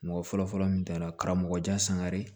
Mɔgɔ fɔlɔfɔlɔ min taara karamɔgɔ jan sangare